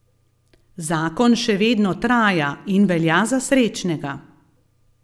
Zakon še vedno traja in velja za srečnega.